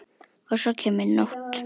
Og svo kemur nótt.